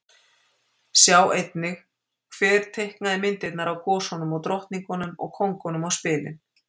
Sjá einnig Hver teiknaði myndirnar af gosunum, drottningunum og kóngunum á spilin?